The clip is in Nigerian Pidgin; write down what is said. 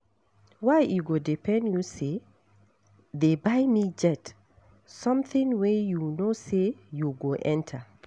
Why e go dey pain you say dey buy me jet, something wey you no say you go enter